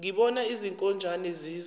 ngibona izinkonjane ziza